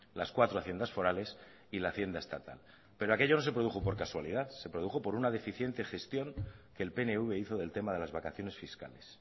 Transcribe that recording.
las cuatro haciendas forales y la hacienda estatal pero aquello no se produjo por casualidad se produjo por una deficiente gestión que el pnv hizo del tema de las vacaciones fiscales